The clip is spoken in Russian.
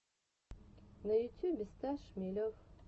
на ютюбе стас шмелев